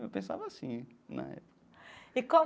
Eu pensava assim, na época. E qual.